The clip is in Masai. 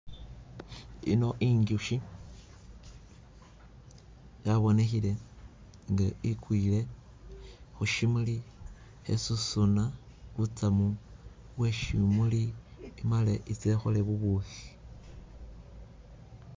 Ino inzushi yabonekhile inga igwile khushimuli khesusuna butsamu bweshimuli imale ise ikhole bubukhi,